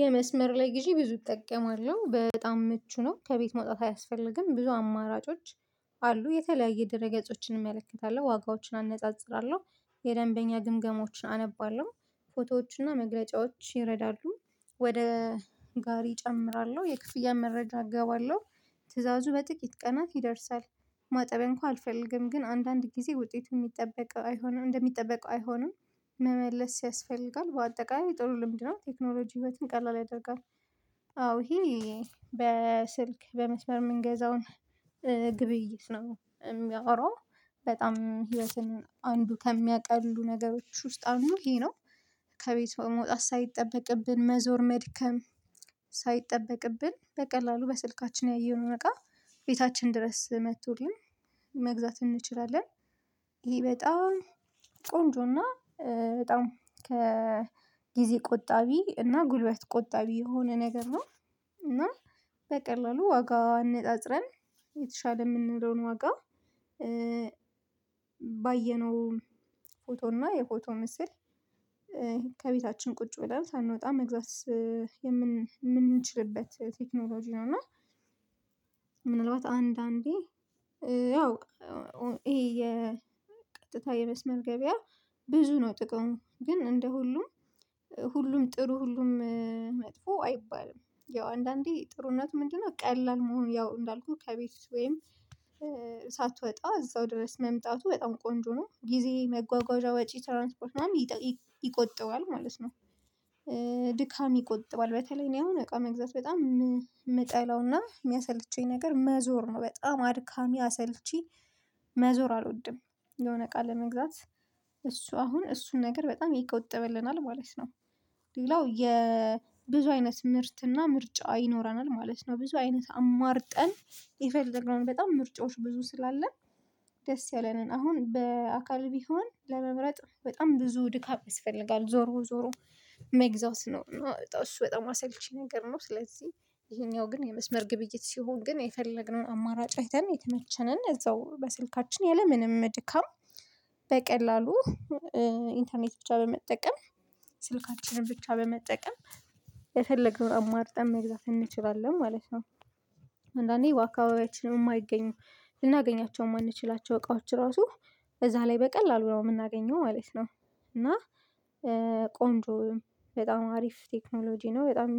የመስመር ላይ ግዢ ብዙ እጠቀማለሁ በጣም ምቹ ነው ከቤት መውጣት አያስፈልግም ብዙ አማራጮች አሉ የተለያየ ድርገጾችን እመለከታለሁ ዋጋዎችን አነጻጽራለሁ። የደንበኛ ግምገሞችን አነባለሁ ፎቶዎችና መግለጫዎች ይረዳሉ። ወደ ጋሪ እጨምራለሁ የክፍያ መረጃ እገባለሁ ትእዛዙ በጥቂት ቀናት ይደርሳል። ማጠቢያ እንኳን አልፈልግም ግን አንዳንድ ጊዜ ውጤቱ የሚጠበቅ አይሆንም እንደሚጠበቀው አይሆንም። መመለስ ያስፈልጋል በአጠቃላይ ጥሩ ልምድ ነው። ቴክኖሎጂ ህይወትን ቀላል ያደርጋል። አዎ ሂ በስልክ በመስመር የምንገዛውን ግብይት ነው የሚያወራው። በጣም ህይወትን አንዱ ከሚያቀሉ ነገሮች ውስጥ አንዱ ይሄ ነው። ከቤት መውጣት ሳይጠበቅብን መዞር መድከም ሳይጠበቅብን በቀላሉ በስልካችን ያየነው እቃ ቤታችን ድረስ መጥቶልን መግዛት እንችላለን። ይሄ በጣም ቆንጆና በጣም ከጊዜ ቆጣቢ እና ጉልበት ቆጣቢ የሆነ ነገር ነው። እና በቀላሉ ዋጋ አነፃፅረን የተሻለ የምንለውን ዋጋ ባየነው ፎቶ እና የፎቶ ምስል ከቤታችን ቁጭ ብለን ሳንወጣ መግዛት የምንችልበት ቴክኖሎጂ ነው። እና ምናልባት አንዳንዴ ያው ይሄ የቀጥታ የመስመር ገበያ ብዙ ነው ጥቀን ግን እንደ ሁሉም ሁሉም ጥሩ ሁሉም መጥፎ አይባልም። ያው አንዳንዴ ጥሩነቱ ምንድነው ቀላል መሆኑ ያው እንዳልኩህ ከቤት ወይም ሳትወጣ እዛው ድረስ መምጣቱ በጣም ቆንጆ ነው። ጊዜ መጓጓዣ ወጪ ትራንስፖርት ምናምን ይቆጥባል ማለት ነው። ድካም ይቆጥባል በተለይ እኔ አሁን እቃ መግዛት በጣም የምጠላውና የሚያሰልቼኝ ነገር መዞር ነው በጣም አድካሚ አሰልቺ መዞር አልወድም። የሆነ እቃ ለመግዛት እሱ አሁን እሱን ነገር በጣም ይቆጥብናልናል ማለት ነው። ሌላው የብዙ አይነት ምርትና ምርጫ ይኖረናል ማለት ነው። ብዙ አይነት አማርጠን የፈለግነውን በጣም ምርጫዎች ብዙ ስላለ ደስ ያለንን አሁን በአካል ቢሆን ለመምረጥ በጣም ብዙ ድካም ይስፈልጋል ዞሮ ዞሮ ሜግዛት ኖ እና እሱ በጣም አሳይቼ ነገር ነው። ስለዚህ ይሄኛው ግን የመስመር ግብይት ሲሆን ግን የፈለግነውን አማራጭ አይተን የተመቸንን እዛው በስልካችን ያለምንም ድካም በቀላሉ ኢንተርኔት ብቻ በመጠቀም ስልካችንን ብቻ በመጠቀም የፈለግነው አማርጠን መግዛት እንችላለን ማለት ነው። አንዳንዴ ዋካባቢያችንን የማይገኙ ልናገኛቸው የማንችላቸው እቃዎች ራሱ እዛ ላይ በቀላሉ ነው የምናገኘው ማለት ነው። እና ቆንጆ በጣም አሪፍ ቴክኖሎጂ ነው በጣም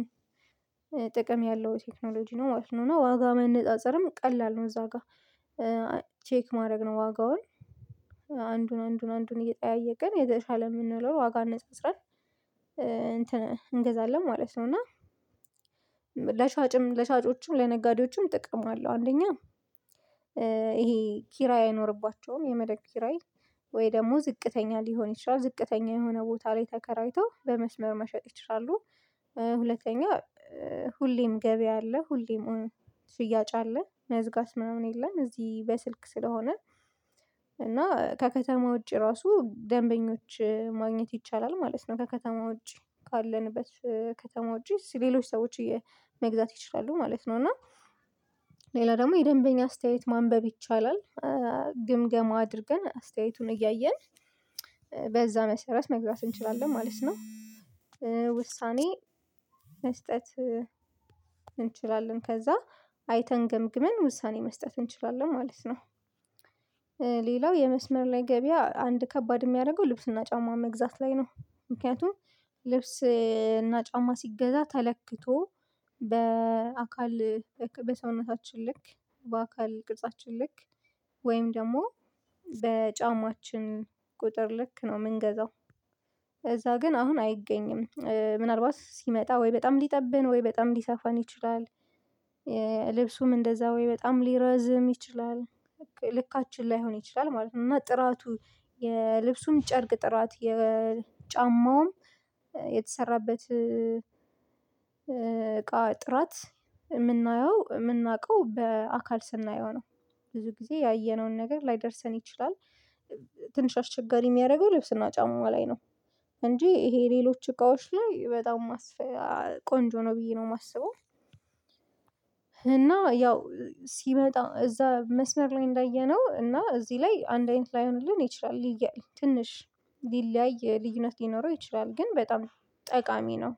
ጥቅም ያለው ቴክኖሎጂ ነው ማለት ነው። እና ዋጋ ማነፃፀርም ቀላል ነው እዛ ጋር ቼክ ማድረግ ነው ዋጋውን አንዱን አንዱን አንዱን እየጠያየቅን የዘለሻ ለሚለው ዋጋ መስጠት እንትን እንገዛለን ማለት ነው። እና ለሻጭም ለሻጮችም ለነጋዴዎችም ጥቅም አለው። አንደኛ ይሄ ኪራይ አይኖርባቸውም የመድረከክን ኪራይ ወይ ደግሞ ዝቅተኛ ሊሆን ይችላል ዝቅተኛ የሆነ ቦታ ላይ ተከራይቶ በመስመር መሸጥ ይችላሉ። ሁለተኛ ሁሌም ገበያ አለ ሁሌም ሁሉ ስያጭ አለ መዝጋት መሆን የለም። እዚህ በስልክ ስለሆነ እና ከከተማው ውጪ ራሱ ደንበኞች ማግኘት ይቻላል ማለት ነው። ከከተማ ውጪ ካለንበት ከከተማ ጂስ ሌሎች ሰዎች መግዛት ትችላለህ ማለት ነው። እና ሌላ ደግሞ የደንበኛ አስተያየት ማንበብ ይቻላል ግምገማ አድርገን አስተያየቱን እያየን በዛ መሰረት መግዛት እንችላለን ማለት ነው። ውሳኔ መስጠት እንችላለን ከዛ አይተን ገምግመን ውሳኔ መስጠት እንችላለን ማለት ነው። ሌላው የመስመር ላይ ገበያ አንድ ከባድ የሚያደርገው ልብስና ጫማ መግዛት ላይ ነው። ምክንያቱም ልብስና ጫማ ሲገዛ ተለክቶ በአካል በሰውነታችን ልክ በአካል ቅርጻችን ልክ ወይም ደግሞ በጫማችን ቁጥር ልክ ነው የምንገዛው እዛ ግን አሁን አይገኝም ምናልባት ሲመጣ ወይ በጣም ሊጠብህ ወይ በጣም ሊሰፋን ይችላል እንደዛ ወይ በጣም ሊረዝም ይችላል ልካችን ላይሆን ይችላል ማለት ነው። እና ጥራቱ የልብሱን ጨርቅ ጥራት የጫማውም የተሰራበት እቃ ጥራት የምናየው የምናውቀው በአካል ስናየው ነው። ብዙ ጊዜ ያየነውን ነገር ላይደርሰን ይችላል። ትንሽ አስቸጋሪ የሚያደርገው ልብስና ጫማው ላይ ነው። እንጂ ይሄ ሌሎች እቃዎች ላይ በጣም ቆንጆ ነው ብዬ ነው የማስበው። እና ያው ሲመጣ እዛ መስመር ላይ እንዳየነው እና እዚህ ላይ አንድ አይነት ላይሆንልን ይችላል ልዩ ትንሽ ሊለያይ ልዩነት ሊኖረው ይችላል ግን በጣም ጠቃሚ ነው